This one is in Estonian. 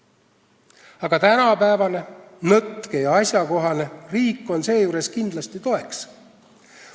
Aga tänapäevane, nõtke ja asjakohane riik on seejuures kindlasti toeks.